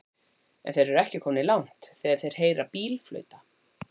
En þeir eru ekki komnir langt þegar þeir heyra bíl flauta.